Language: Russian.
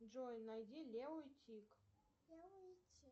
джой найди лео и тиг